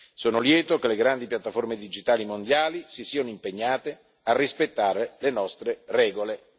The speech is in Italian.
Sono lieto che le grandi piatteforme digitali mondiali si siano impegnate a rispettare le nostre regole.